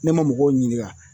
Ne ma mɔgɔw ɲininga